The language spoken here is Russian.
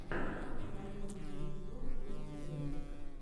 покажи лучший эпизод дубс тэйлс